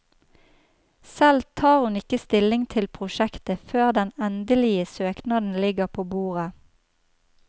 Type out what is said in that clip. Selv tar hun ikke stilling til prosjektet før den endelige søknaden ligger på bordet.